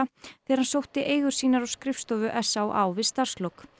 þegar hann sótti eigur sínar á skrifstofu s á á við starfslok